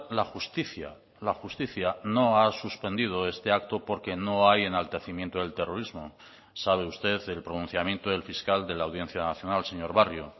la justicia la justicia no ha suspendido este acto porque no hay enaltecimiento del terrorismo sabe usted el pronunciamiento del fiscal de la audiencia nacional señor barrio